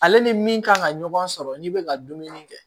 Ale ni min kan ka ɲɔgɔn sɔrɔ ni bɛ ka dumuni kɛ